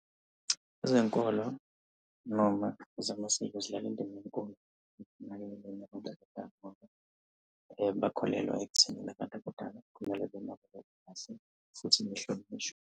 Ezenkolo noma ezamasiko zidlala indima nenkulu . Bakholelwa ekuthenini abantu abadala. Kumele benakekele kahle futhi behlonishwe.